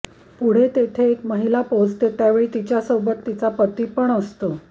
पुढे तेथे एक महिला पोहचते त्यावेळी तिच्या सोबत तिचा पती पण असतो